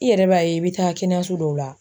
I yɛrɛ b'a ye i bi taa kɛnɛyaso dɔw la